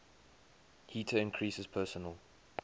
heater increases personal